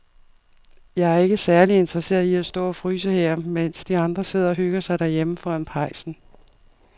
Jeg er ikke særlig interesseret i at stå og fryse her, mens de andre sidder og hygger sig derhjemme foran pejsen.